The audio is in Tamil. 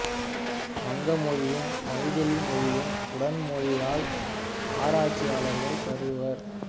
வங்க மொழியும் மைதிலி மொழியும் உடன் மொழியியல் ஆராய்ச்சியாளர்கள் கருதுவர்